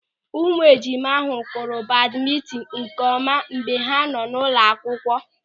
Ụmụejima ahụ kụrụ badmintin nkeọma mgbe ha nọ n'ụlọakwụkwọ.